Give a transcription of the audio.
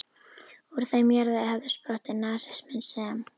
Úr þeim jarðvegi hafði sprottið nasisminn, sem